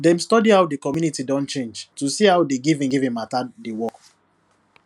dem study how the community don change to see how di giving giving matter dey work